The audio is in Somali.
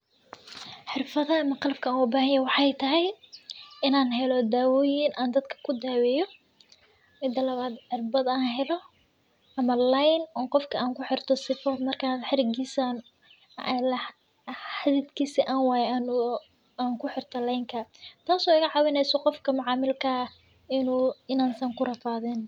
Xirfadahan qalabka an ogabahanyaho waxay tahay in an helo dawoyin an dadka kudaweyo, mida cirbad an helo ama line an qofka kuxirto sifo markan xididkisa an wayo an kuxirto lenka, tas oo igacawineyso qofka macamilka inuu, inaan san kurafadin.